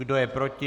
Kdo je proti?